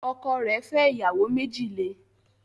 Ọkọ rẹ̀ fẹ́ ìyàwó méjì le